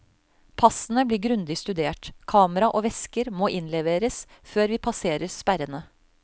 Passene blir grundig studert, kamera og vesker måinnleveres før vi passerer sperrene.